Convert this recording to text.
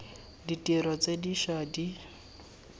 ditiro tse di ša di